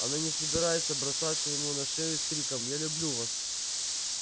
она не собирается бросаться ему на шею с криком я люблю вас